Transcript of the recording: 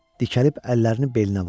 Dikəlib əllərini belinə vurdu.